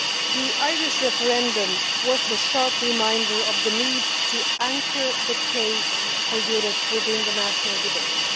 The Irish referendum was a sharp reminder of the need to anchor the case for Europe within the national debate.